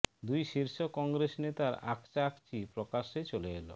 দুই শীর্ষ কংগ্রেস নেতার আকচা আকচি প্রকাশ্যে চলে এল